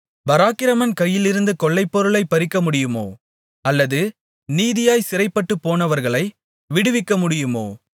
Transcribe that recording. பராக்கிரமன் கையிலிருந்து கொள்ளைப்பொருளைப் பறிக்கமுடியுமோ அல்லது நீதியாய்ச் சிறைப்பட்டுப்போனவர்களை விடுவிக்கமுடியுமோ